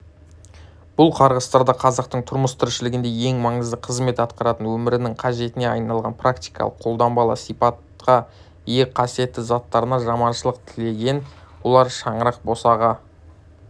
бұл қарғыстарда қазақтың тұрмыс-тіршілігінде ең маңызды қызмет атқаратын өмірінің қажетіне айналған практикалық-қолданбалы сипатқа ие қасиетті заттарына жаманшылық тіленген олар шаңырақ босаға